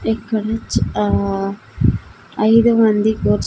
ఇక్కడినుంచి ఆ ఐదు మంది కూర్చో--